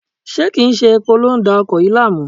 Ṣé kí n ṣe epo ló ń da ọkọ̀ yìí láàmú?